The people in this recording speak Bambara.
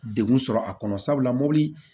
Degun sɔrɔ a kɔnɔ sabula mobili